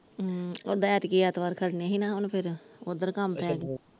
ਹਮ ਉਹਦਾ ਐਤਕੀ ਐਤਵਾਰ ਖੜ੍ਹਨੇ ਸੀ ਹਣਾ ਹੁਣ ਫਿਰ ਉੱਧਰ ਕੰਮ ਪਾ ਗਿਆ ।